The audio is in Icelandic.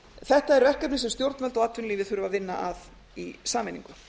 þetta er verkefni sem stjórnvöld og atvinnulífið þurfa að vinna að í sameiningu